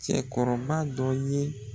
Cɛkɔrɔba dɔ ye